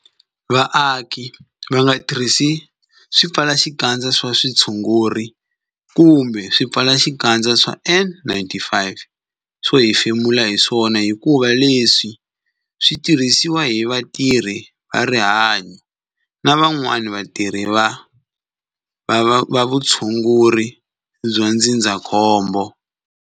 Vaaki va nga tirhisi swipfalaxikandza swa vutshunguri kumbe swipfalaxikandza swa N-95 swo hefemula hi swona hikuva leswi swi tirhisiwa hi vatirhi va rihanyo na van'wana vatirhi va vutshunguri bya ndzindzakhombo.